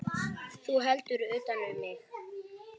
Þú heldur utan um mig.